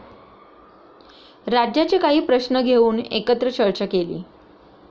राज्याचे काही प्रश्न घेऊन एकत्र चर्चा केली.